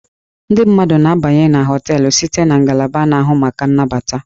Ndị mmadụ na-abanye na hóteélụ̀ site na ngalaba na-ahụ maka nnabata